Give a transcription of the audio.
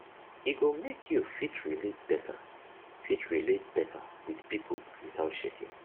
e go mek yu fit relate beta fit relate beta wit pipo witout shaking